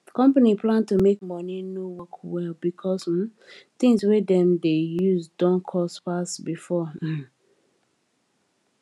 company plan to make money no work well because um things wey dem dey use don cost pass before um